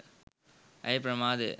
ඇය ප්‍රමාදය.